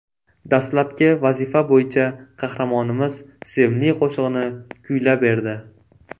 Dastlabki vazifa bo‘yicha qahramonimiz sevimli qo‘shig‘ini kuylab berdi.